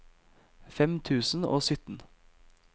fem tusen og sytten